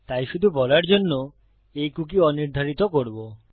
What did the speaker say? তাই শুধু বলার জন্য এই কুকী অনির্ধারিত করব